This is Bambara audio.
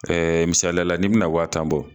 misaliya la n'i bina wa tan bɔ